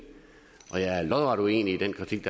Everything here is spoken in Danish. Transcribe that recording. og jeg er lodret uenig i den kritik